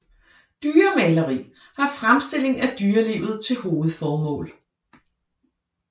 Dyremaleri har fremstillingen af dyrelivet til hovedformål